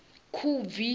khubvi